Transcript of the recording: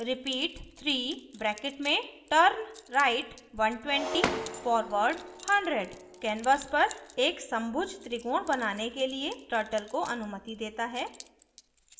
repeat 3 {turnright 120 forward 100} canvas पर एक समभुज त्रिकोण बनाने के लिए turtle को अनुमति देता है